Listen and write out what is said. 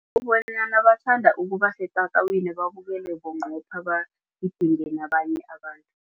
bathanda ukubasetatawini babukele bunqopha bagidinge nabanye abantu.